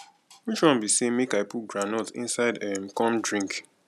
which one be say make i put groundnut inside um come drink